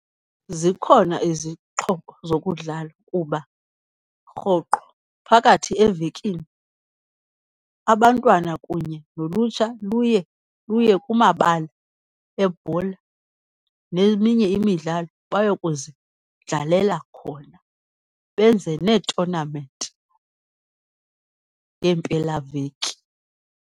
Zikhona izixhobo zokudlala kuba rhoqo phakathi evekini abantwana kunye nolutsha luye luye kumabala ebhola neminye imidlalo baye kuzidlalela khona, benze neetonamenti ngeempelaveki.